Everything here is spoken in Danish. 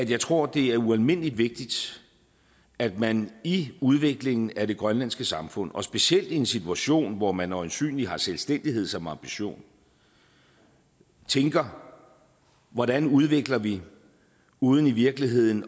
jeg tror det er ualmindelig vigtigt at man i udviklingen af det grønlandske samfund og specielt i en situation hvor man øjensynlig har selvstændighed som ambition tænker hvordan udvikler vi uden i virkeligheden